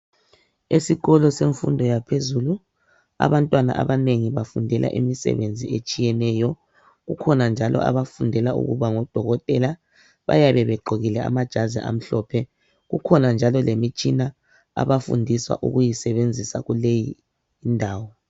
Esikolo semfundo yaphezulu abantwana abanengi bafundela imisebenzi etshiyeneyo abanye bafundela ukuba ngodokotela bayabe begqokile amajazi amhlophe ikhona njalo lemitshina abafundiswa ukuyisebenzisa kuleyindawo